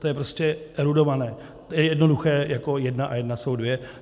To je prostě erudované, to je jednoduché, jako jedna a jedna jsou dvě.